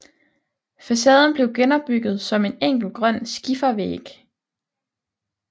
Facaden blev genopbygget som en enkel grøn skifervæg